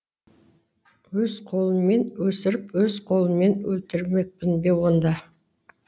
өз қолыммен өсіріп өз қолыммен өлтірмекпін бе онда